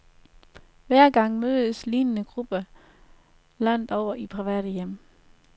Hver dag mødes lignende grupper landet over i private hjem.